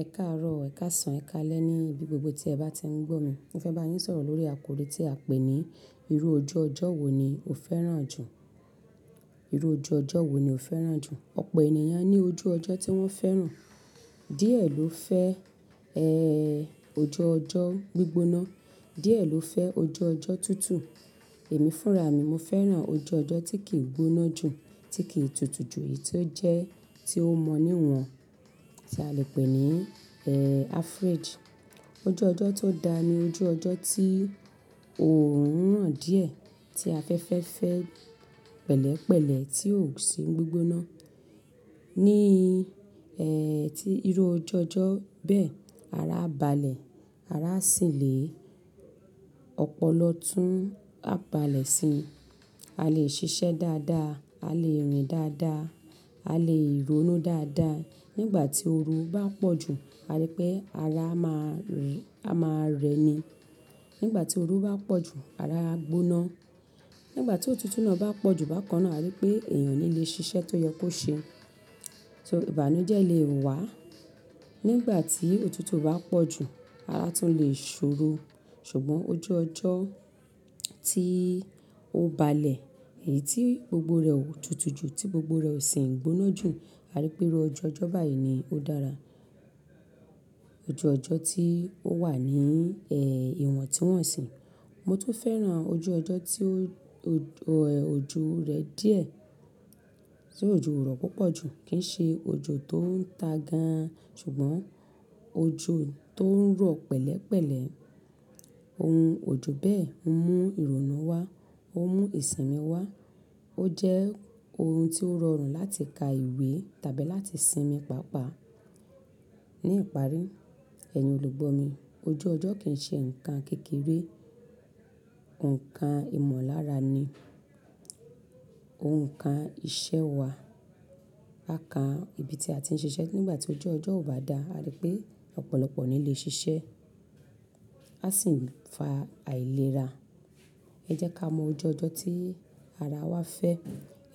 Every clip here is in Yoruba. Ẹ káàárọ̀, ẹ káàsán, ẹ káalẹ́ ní ibi gbogbo tí ẹ bá ti ń gbó mi. Mo fẹ́ bá yín sọ̀rọ̀ lórí àkòrí tí a pé ní "Irú ojú ọjọ́ wo ni o fẹ́ràn jù?" Ìrú ojú ọjọ́ wo ni o fẹ́ràn jù? Ọ̀pọ̀ ènìyàn ní ojú ọjọ́ tí wọ́n fẹ́ràn. Díẹ̀ ló fẹ́, ẹ́, ojú ọjọ́ gbígbóná, díẹ̀ ló fẹ́ ojú ọjọ́ tútù. Èmi fúnra mi, mo fẹ́ràn ojú ọjọ́ tí kì í gbóná jù, tí kì í tutù jù, èyí tí ó jẹ́ tí ó mọ níwọ̀n, tí a lè pè ní, average. Ojú ọjọ́ tó dá ni ojú ọjọ́ tí orun ràn díẹ̀, tí afẹ́fẹ́ fẹ́ pẹ̀lẹ́pẹ̀lẹ́ tí ò sí gbígbóná. Ní, ẹ́, tí irú ojú ọjọ́ bẹ́ẹ̀, ara á balẹ̀, ara á sì le, ọ̀pọ̀lọpọ̀ tún á balẹ̀ sí i. A lè ṣiṣẹ́ dáadáa, a lè rìn dáadáa, a lè rónú dáadáa. Nígbà tí oru bá pọ̀ jù, a rí pé ara a máa rẹ ni. Nígbà tí oru bá pọ̀ jù, ara á gbóná. Nígbà tí òtútù náà bá pọ̀ jù bákan náà, a rí pé èèyàn o ni lè ṣiṣẹ́ tó yẹ kó ṣe. So, ìbànújẹ́ lè wá. Nígbà tí òtútù bá pọ̀ jù, ara tún lè ṣòro. Ṣùgbọ́n ojú ọjọ́ tí ó balẹ̀, èyí tí gbogbo rẹ̀ ò tutù jù, tí gbogbo rẹ̀ ò sì ń gbóná jù, a rí pé irú ojú ọjọ́ báyìí ni ó dára. Ojú ọjọ́ tí ó wà ní, ẹ́, ìwọ̀n tí wọ́n sì. Mo tun fẹ́ràn ojú ọjọ́ tí ojo rẹ̀ díẹ̀, tí ojo o rọ̀ púpọ̀ jù, kì í ṣe ojo tó ń ta gan-an, ṣùgbọ́n ojo tó ń rọ̀ pẹ̀lẹ́pẹ̀lẹ́. Ohun ojo bẹ́ẹ̀ ń mú ìrònú wá, ó mú ìsinmi wá. Ó jẹ́ ohun tí ó rọrùn láti ka ìwé tàbí láti sinmi pàápàá. Ní ìparí, ẹ̀yin olùgbọ́ mi, ojú ọjọ́ kì í ṣe nǹkan kékeré, nǹkan ìmọ̀lára ni, òuǹ kàn iṣẹ́ wa. Pàápàá, ìbí tí a ti ń ṣiṣẹ́ nígbà tí ojú ọjọ́ ò bá dá, a rí pé ọ̀pọ̀lọpọ̀ o ni lè ṣiṣẹ́. A sì ń fa àìlera. Ẹ jẹ́ ká mọ ojú ọjọ́ tí ara wa fẹ́.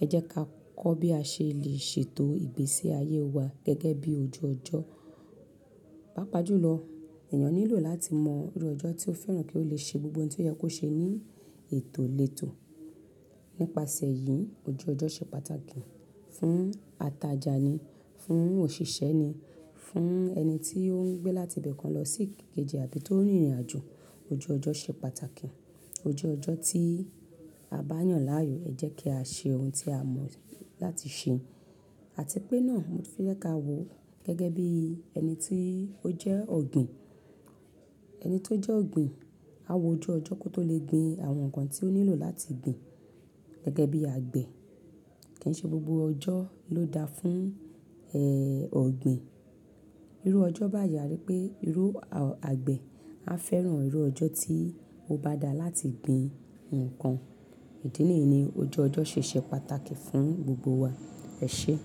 Ẹ jẹ́ ká kọ́ bí a ṣe lè ṣètò ìgbésí ayé wa gẹ́gẹ́ bí ojú ọjọ́. Pápa jùlọ, èèyàn nílò láti mọ irú ọjọ́ tí ó fẹ́ràn kí ó lè ṣe gbogbo ohun tí ó yẹ kó ṣe ní ètò létò. Nípasẹ̀ yìí, ojú ọjọ́ ṣe pàtàkì fún atajà ni, fún òṣìṣẹ́ ni, fún ẹni tí ó ń gbé láti ibi kan lọ sí kejì àbí tó ń rìnrìnàjò, ojú ọjọ́ ṣe pàtàkì. Ojú ọjọ́ tí a bá yàn láàyò ẹ jẹ́ kí a ṣe ohun tí a mọ̀ láti ṣe. Àti pé náà, mo tun fẹ́ kaa wò gẹ́gẹ́ bí ẹni tí ó jẹ́ ọ̀gbìn. Ẹni tó jẹ́ ọ̀gbìn á wo ojú ọjọ́ kó tó lè gbin àwọn nǹkan tí ó nílò láti gbin. Gẹ́gẹ́ bí àgbẹ̀ kì í ṣe gbogbo ọjọ́ ló da fún, ẹ́, ọ̀gbìn. Irú ọjọ́ báyìí a rí pé irú, àgbẹ̀ á fẹ́ràn irú ọjọ́ tí ó bá dá láti gbin nǹkan. Ìdí nìyí ni ojú ọjọ́ ṣe ṣe pàtàkì fún gbogbo wa. Ẹ ṣé.